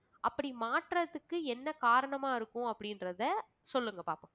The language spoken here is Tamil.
அப்படி மாற்றத்துக்கு என்ன காரணமா இருக்கும் அப்படின்றத சொல்லுங்க பார்ப்போம்